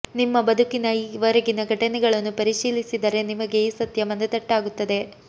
ನಿಮ್ಮ ಬದುಕಿನ ಈ ವರೆಗಿನ ಘಟನೆಗಳನ್ನು ಪರಿಶೀಲಿಸಿದರೆ ನಿಮಗೆ ಈ ಸತ್ಯ ಮನದಟ್ಟಾಗುತ್ತದೆ